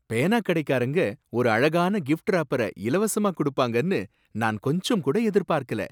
பேனா கடைக்காரங்க ஒரு அழகான கிஃப்ட்ராப்பர இலவசமா குடுப்பாங்கனு நான் கொஞ்சம்கூட எதிர்பாக்கல.